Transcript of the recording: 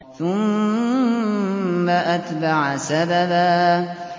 ثُمَّ أَتْبَعَ سَبَبًا